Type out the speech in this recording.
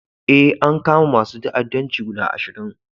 Eh, an kama masun ta'addanci guda ashirin.